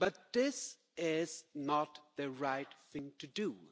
This is not the right thing to do.